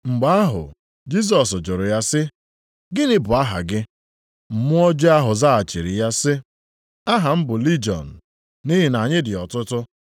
Mgbe ahụ Jisọs jụrụ ya sị, “Gịnị bụ aha gị?” Mmụọ ọjọọ ahụ zaghachiri ya sị, “Aha m bụ Lijiọn, + 5:9 Nke a bụ site na puku atọ ruo puku isii nʼọnụọgụgụ. nʼihi na anyị dị ọtụtụ.”